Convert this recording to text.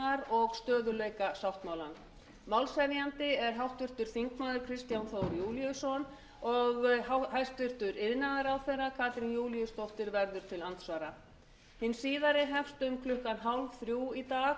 og stöðugleikasáttmálans málshefjandi er háttvirtur þingmaður kristján þór júlíusson og hæstvirtur iðnaðarráðherra katrín júlíusdóttir verður til andsvara hin síðari hefst klukkan tvö þrjátíu í dag